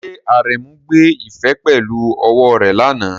Ṣé Aremu gbé ife pẹ̀lú ọwọ́ rẹ̀ lánàá?